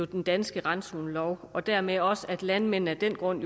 den danske randzonelov og dermed også at landmændene af den grund